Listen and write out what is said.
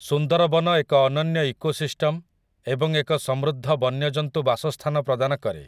ସୁନ୍ଦରବନ ଏକ ଅନନ୍ୟ ଇକୋସିଷ୍ଟମ୍‌ ଏବଂ ଏକ ସମୃଦ୍ଧ ବନ୍ୟଜନ୍ତୁ ବାସସ୍ଥାନ ପ୍ରଦାନ କରେ ।